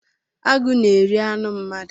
Agụ na-eri anụ mmadụ.